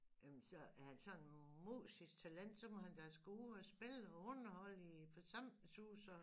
Jamen så er han sådan et musisk talent så må han da skulle ud go spille og underholde i forsamlingshuse og